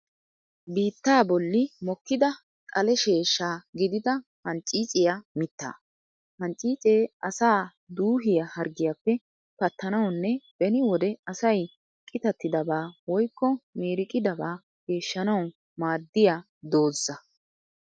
Biittaa bolli mokkida xale sheeshsha gidida hancciiciya mittaa. Hancciicee asaa duuhiya harggiyappe pattanawanne beni wode asay qitattidabaa woykko miiriqidaba geeshshanawu maaddiya doozza.